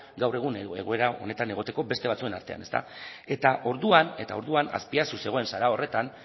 gaur egun egoera honetan egoteko beste batzuen artean orduan azpiazu zegoen sala horretan